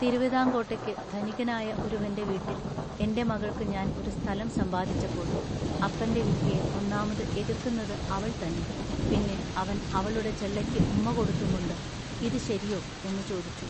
തിരുവിതാങ്കോട്ടേക്കു ധനികനായ ഒരുവന്റെ വീട്ടിൽ എന്റെ മകൾക്കു ഞാൻ ഒരു സ്ഥലം സമ്പാദിച്ചപ്പോൾ അപ്പന്റെ വിധിയെ ഒന്നാമതു എതൃക്കുന്നതു അവൾ തന്നെ പിന്നെ അവൻ അവളുടെ ചെള്ളയ്ക്കു ഉമ്മ കൊടുത്തുംകൊണ്ടു “ഇതു ശരിയൊ" എന്നു ചോദിച്ചു.